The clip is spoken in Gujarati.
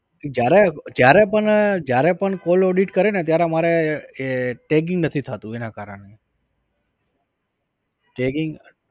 જયારે જયારે પણ જયારે પણ call audit કરે ને ત્યારે અમારે tagging નથી થાતું એનાં કારણ એ tagging